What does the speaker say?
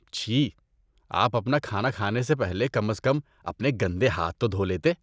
چھی! آپ اپنا کھانا کھانے سے پہلے کم از کم اپنے گندے ہاتھ تو دھو لیتے۔